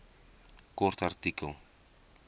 kort artikel